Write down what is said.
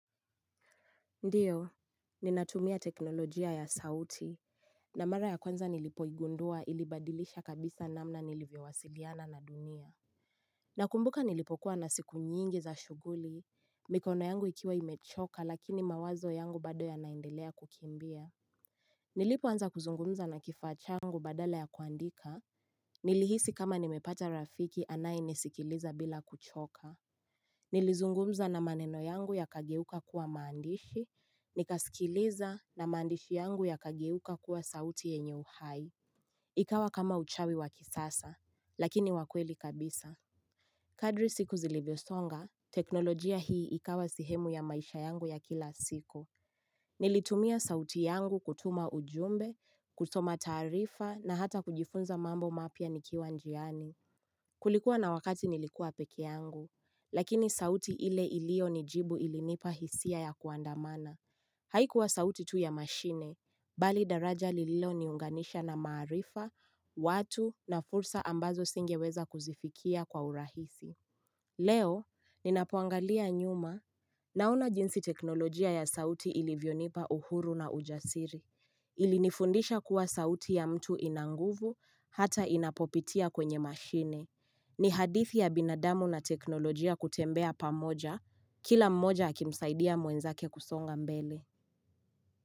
Ndiyo, ninatumia teknolojia ya sauti, na mara ya kwanza nilipoigundua ilibadilisha kabisa namna nilivyawasiliana na dunia. Nakumbuka nilipokuwa na siku nyingi za shughuli, mikono yangu ikiwa imechoka lakini mawazo yangu bado ya naendelea kukimbia. Nilipoanza kuzungumza na kifaa changu badala ya kuandika, nilihisi kama nimepata rafiki anayenisikiliza bila kuchoka. Nilizungumza na maneno yangu yakageuka kuwa maandishi, nikaskiliza na maandishi yangu yakageuka kuwa sauti yenye uhai. Ikawa kama uchawi wa kisasa, lakini wa kweli kabisa. Kadri siku zilivyosonga, teknolojia hii ikawa sehemu ya maisha yangu ya kila siko. Nilitumia sauti yangu kutuma ujumbe, kutuma taarifa na hata kujifunza mambo mapya nikiwa njiani. Kulikuwa na wakati nilikuwa peke yangu, lakini sauti ile ilionijibu ilinipa hisia ya kuandamana. Haikuwa sauti tu ya mashine, bali daraja lililoniunganisha na maarifa, watu na fursa ambazo singeweza kuzifikia kwa urahisi. Leo, ninapoangalia nyuma naona jinsi teknolojia ya sauti ilivyonipa uhuru na ujasiri. Ilinifundisha kuwa sauti ya mtu ina nguvu hata inapopitia kwenye mashine. Ni hadithi ya binadamu na teknolojia kutembea pamoja, kila mmoja akimsaidia mwenzake kusonga mbele.